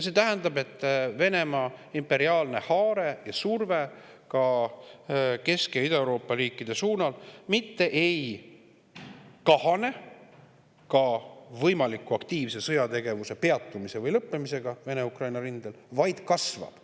See tähendab, et Venemaa imperiaalne haare ja surve ka Kesk‑ ja Ida-Euroopa riikide suunal mitte ei kahane ka aktiivse sõjategevuse võimaliku peatumise või lõppemisega Vene-Ukraina rindel, vaid kasvab.